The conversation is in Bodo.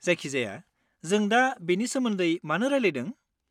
जायखिजाया, जों दा बेनि सोमोन्दै मानो रायलायदों?